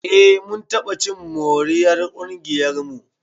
Eh mun taɓa cin moriyar ƙungiyarmu.